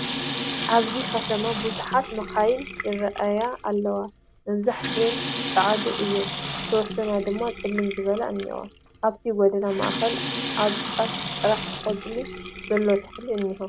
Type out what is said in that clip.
ኣብዚ ኸተማ ብዙሓት መኻይን ይረኣያ ኣለዋ መብዛሕተኣን ፃዓዱ እየን ዝተወሰና ድማ ፅልም ዝበላ እንሄዋ ፡ ኣብቲ ጎደና ማእኸል ኣብ ጫፉ ጥራሕ ቖፅሊ ዘለዎ ተኽልታት እንሄ ።